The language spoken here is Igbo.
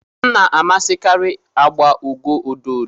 m na-amasịkarị agba ugo ododo